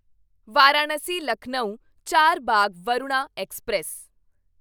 Varanasi Lucknow Charbagh Varuna express